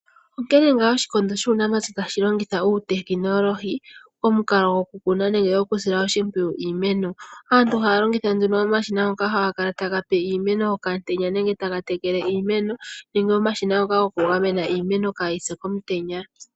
Onke nga oshikondo shuunamapya tashi longitha uutekinolohi, omukalo goku kuna nenge goku sila ooshipwiyu iimeno. Aantu haya longitha omashina ngoka haga kala ta gape iimeno okamutenya nenge taga tekele iimeno nenge omashina ngoka goku gamena iimeno kaa yipye komutenya.